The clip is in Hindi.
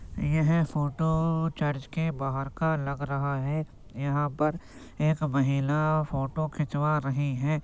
यह फोटो चर्च के बाहर का लग रहा है। यहां पर एक महिला फोटो खिंचवा रही है।